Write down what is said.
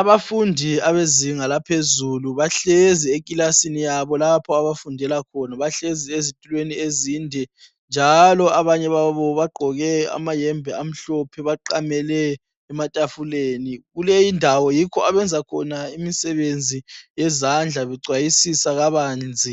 Abafundi abezinga laphezulu bahlezi eklasini yabo lapho abafundela khona. Bahlezi ezitulweni ezinde njalo abanye babo bagqoke amayembe amhlophe baqamele ematafuleni. Kuleyindawo yikho abenza khona imisebenzi yezandla bechwayisisa kabanzi